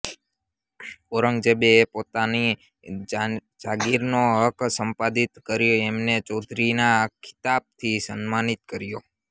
ઔરંગઝેબ એ પોતાની જાગીર નો હક સંપાદિત કરી એમને ચૌધરી ના ખિતાબ થી સન્માનિત કર્યા